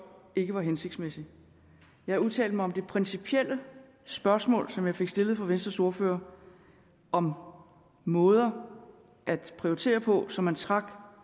ikke var hensigtsmæssig jeg udtalte mig om det principielle spørgsmål som jeg fik stillet af venstres ordfører om måder at prioritere på så man trak